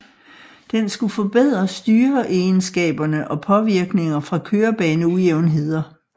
Den skulle forbedre styreegenskaberne og påvirkninger fra kørebaneujævnheder